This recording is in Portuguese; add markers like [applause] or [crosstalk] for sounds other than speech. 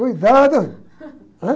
Cuidado, [laughs] ãh?